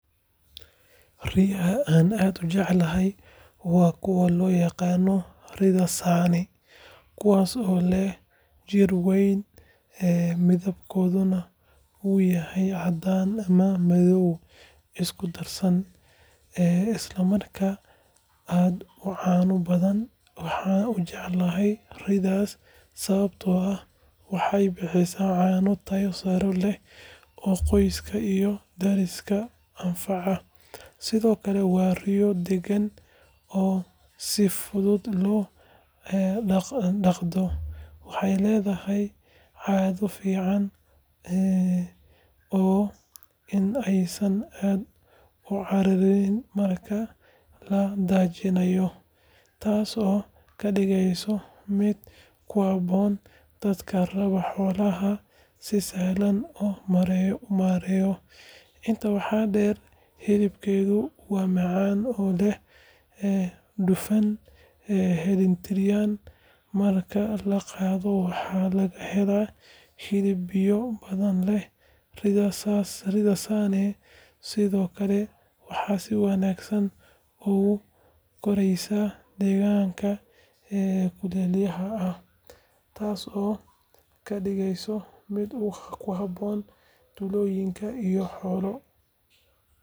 Riyaha aan aadka u jecelahay waa kuwa loo yaqaan ri’da Saane, kuwaas oo leh jidh weyn, midabkoodu uu yahay caddaan ama madow isku darsan, isla markaana aad u caano badan. Waxaan u jecelahay ri’daas sababtoo ah waxay bixisaa caano tayo sare leh oo qoyska iyo deriskaba anfacaya, sidoo kale waa riyo degan oo si fudud loo dhaqdo. Waxay leedahay caado fiican oo ah in aysan aad u cararin marka la daajinayo, taasoo ka dhigaysa mid ku habboon dadka raba xoolo si sahlan loo maareeyo. Intaa waxaa dheer, hilibkeedu waa macaan oo leh dufan dheellitiran, marka la qalo waxaa laga helaa hilib biyo badan leh. Ri’da Saane sidoo kale waxay si wanaagsan ugu koraysaa deegaanka kulaylaha ah, taasoo ka dhigaysa mid ku habboon tuulooyinka iyo xoolo.